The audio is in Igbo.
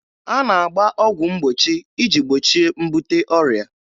A na-agba ọgwụ mgbochi iji gbochie mbute ọrịa